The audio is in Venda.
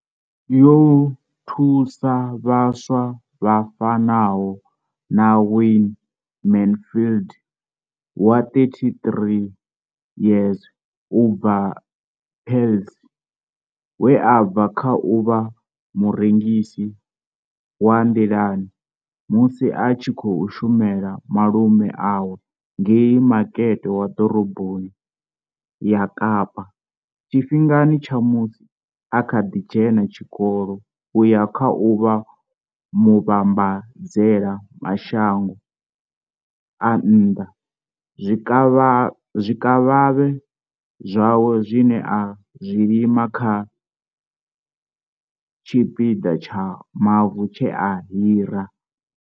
Yo thusa vhaswa vha fanaho na Wayne Mansfield wa 33 years u bva Paarl, we a bva kha u vha murengisi wa nḓilani musi a tshi khou shumela malume awe ngei Makete wa Ḓoroboni ya Kapa tshifhingani tsha musi a kha ḓi dzhena tshikolo u ya kha u vha muvhambadzela mashango a nnḓa zwikavhavhe zwawe zwine a zwi lima kha tshipiḓa tsha mavu tshe a hira.